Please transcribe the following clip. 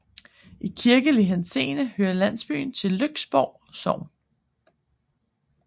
I kirkelig henseende hører landsbyen til Lyksborg Sogn